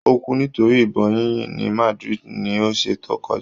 Ó kú nítorí ìbọn yíyìn ní Madrid, ní ọsẹ̀ tó kọjá.